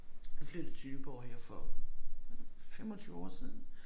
Flyttede til Nyborg her for 25 år siden